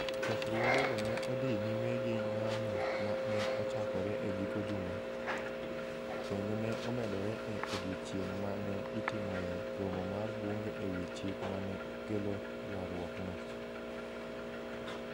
Chokruogego ne odhi nyime gi ng'anyo ma ne ochakore e giko juma, kendo ne omedore e odiechieng' ma ne itimoe romo mar bunge e wi chik ma ne kelo ywaruokno.